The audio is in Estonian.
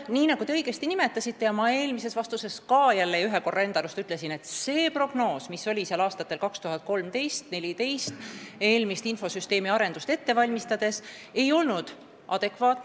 Nii nagu te õigesti nimetasite ja ma eelmises vastuses enda arust ka ütlesin, see prognoos, mis oli seal aastatel 2013 ja 2014 eelmist infosüsteemi arendust ette valmistades, ei olnud adekvaatne.